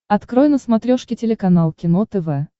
открой на смотрешке телеканал кино тв